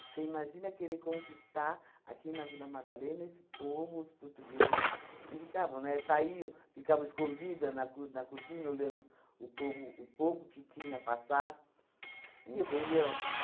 Você imagina querer conquistar aqui na Vila Madalena esse povo, os portugueses, que ficavam, né, saíam, ficavam escondida na cor na cortina olhando o povo, o pouco que tinha a passar, entendeu?